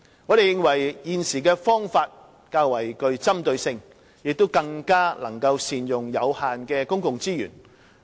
我們認為，現時的方法較具針對性，亦更能善用有限的公共資源。